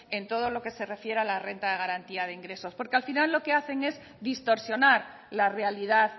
en todo lo que se refiera a la renta de garantía de ingresos porque al final lo que hacen es distorsionar la realidad